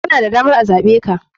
Kana da damar a zaɓeka.